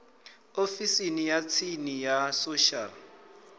ofisini ya tsini ya social